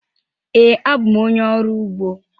Ee, abụ m onye ọrụ ugbo.